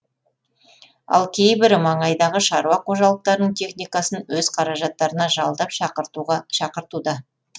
ал кейбірі маңайдағы шаруа қожалықтарының техникасын өз қаражаттарына жалдап шақыртуда